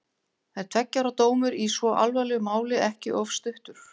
Er tveggja ára dómur í svo alvarlegu máli ekki of stuttur?